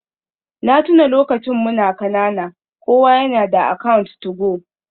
Na tuna lokacin muna kanana kowa yana da account 2go.